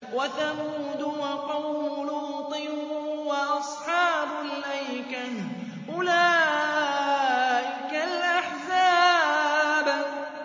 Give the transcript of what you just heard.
وَثَمُودُ وَقَوْمُ لُوطٍ وَأَصْحَابُ الْأَيْكَةِ ۚ أُولَٰئِكَ الْأَحْزَابُ